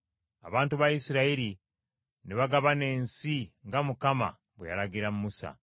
Abantu ba Isirayiri ne bagabana ensi nga Mukama bwe yalagira Musa.